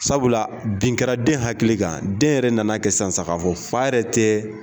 Sabula bin kɛra den hakili kan den yɛrɛ nana kɛ sansan k'a fɔ fa yɛrɛ tɛ.